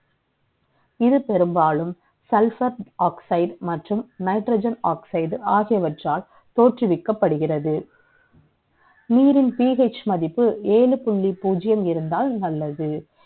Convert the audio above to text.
இது பெரும்பாலும் Sulphur oxide மற்றும் nitrogen oxide ஆகியவற்றால் தோற்றுவிக்கப்படுகிறது நீரின் PH மதிப்பு ஏழு புள்ளி பூஜியம் இரண்டால் நல்லது